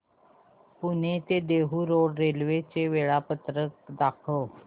पुणे ते Dehu road railway चे वेळापत्रक दाखव